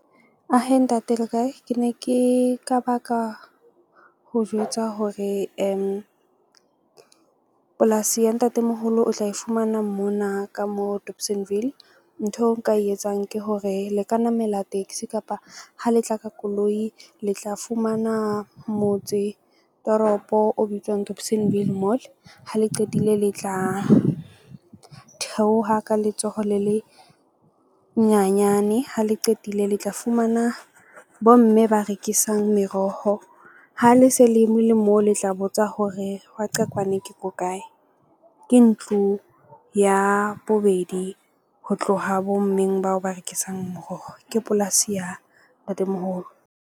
Ahe ntate le kae? Ke ne ke ka baka ho jwetsa hore polasi ya ntatemoholo o tla e fumana mona ka mo Dobsonville. Ntho eo nka e etsang ke hore le ka namela taxi kapa ha le tla ka koloi, le tla fumana motse toropo o bitswang Dobsonville Mall. Ha le qetile, le tla theoha ka letsoho le le nyanyane, ha le qetile, le tla fumana bomme ba rekisang meroho ha le se le le moo le tla botsa hore Waqekwane ke ko kae. Ke ntlo ya bobedi ho tloha bo mmeng bao ba rekisang moroho ke polasi ya ntatemoholo.